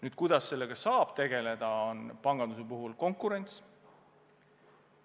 Aga kuidas sellega saab tegeleda, on panganduse puhul konkurentsi suurendamine.